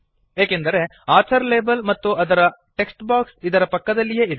ಏಕೆಂದರೆ author label ಮತ್ತು ಅದರ ಟೆಕ್ಸ್ಟ್ ಬಾಕ್ಸ್ ಇದರ ಪಕ್ಕದಲ್ಲಿಯೇ ಇದೆ